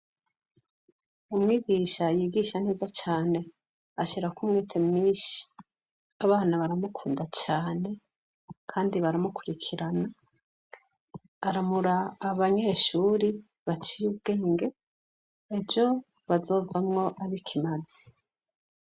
Umwigisha yigisha neza cane. Ashirako umwete mwinshi, abana baramukunda cyane kandi baramukurikirana. Aramura abanyeshuri baciye ubwenge, ejo bazovamwo abo ikimaze.